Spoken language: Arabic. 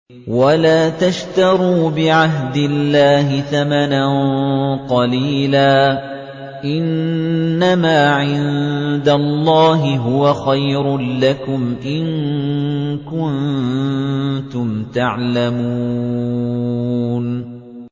وَلَا تَشْتَرُوا بِعَهْدِ اللَّهِ ثَمَنًا قَلِيلًا ۚ إِنَّمَا عِندَ اللَّهِ هُوَ خَيْرٌ لَّكُمْ إِن كُنتُمْ تَعْلَمُونَ